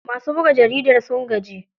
Masu buga jaridar sun gaji.